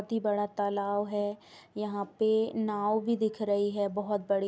बड़ा तालाव है। यहाँ पे नाव भी दिख रही है बोहोत बड़ी।